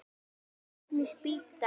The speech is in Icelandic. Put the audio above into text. Flugur rykmýs bíta ekki.